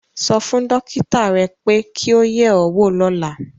Sọ fún dókítà rẹ pé kí o yẹ̀ ẹ́ wò lọ́la